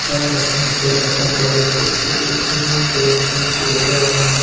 ইয়াত এখন হোটেল দেখা পোৱা গৈছে হোটেল খনৰ বেৰখিনি হালধীয়া ৰঙৰ হয়।